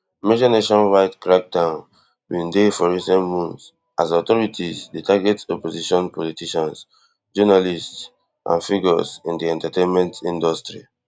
major nationwide crackdown bin dey for recent months as authorities dey target opposition politicians journalists and figures in di entertainment industry